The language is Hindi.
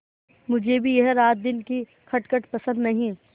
मुझे भी यह रातदिन की खटखट पसंद नहीं